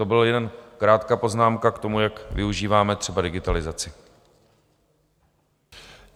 To byla jen krátká poznámka k tomu, jak využíváme třeba digitalizaci.